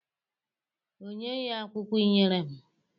Onyeghị akwụkwọ ị nyere m.